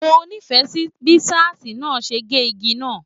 Mo nífẹẹ sí bí ṣáásí náà ṣe ge ìgi náà.